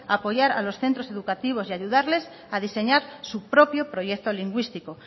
a apoyar a los centro educativos y ayudarles a diseñar su propio proyecto lingüístico